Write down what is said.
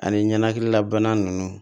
Ani ɲɛnaminila bana nunnu